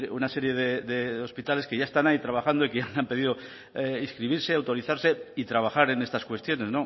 una serie de hospitales que ya están ahí trabajando y que ya han pedido inscribirse autorizarse y trabajar en estas cuestiones